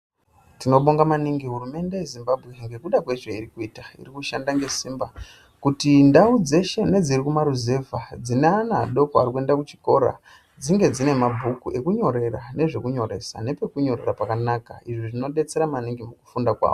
Tinovonga maningi hurumende yeZimbabwe ngekuda kwezveiri kuita iri kushanda ngesimba kuti ndau dzeshe nedziri kumaruzevha dzine ana adoko anoenda kuchikora dzinge dzine mabhuku ekunyorera nezvekunyoresa nepekunyorera pakanaka izvo zvinodetsera maningi mukufunda kwawo.